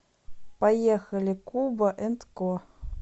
поехали куба энд ко